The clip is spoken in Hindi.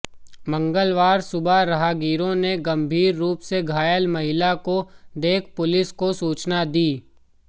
मंगलवार सुबह राहगीरों ने गंभीर रूप से घायल महिला को देख पुलिस को सूचना दी